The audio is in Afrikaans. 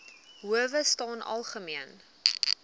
howe staan algemeen